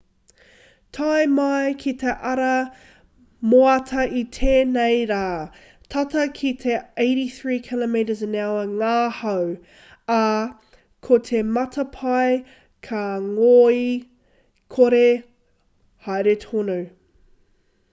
tae mai ki te ata moata i tēnei rā tata ki te 83 km/h ngā hau ā ko te matapae ka ngoikore haere tonu